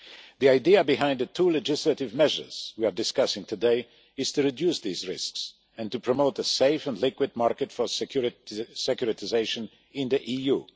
The idea behind the two legislative measures we are discussing today is to reduce these risks and to promote a safe and liquid market for securitisation in the EU.